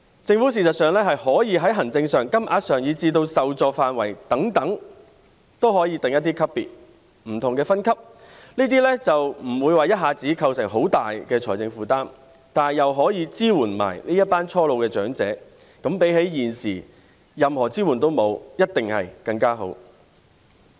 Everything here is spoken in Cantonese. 政府事實上是可以在行政、金額，以至受助範圍等方面，訂定一些級別或不同分級，這樣就不會一下子構成很大的財政負擔，但又可以支援這群初老長者，比起現時任何支援也沒有，一定是更好。